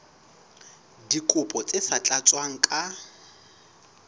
dikopo tse sa tlatswang ka